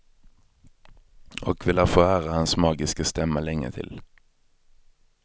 Och vi lär få höra hans magiska stämma länge till.